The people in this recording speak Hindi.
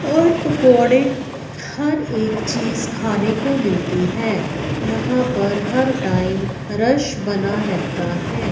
और पकोड़े हर एक चीज खाने को मिलती है यहां पर हर टाइम रश बना रहता है।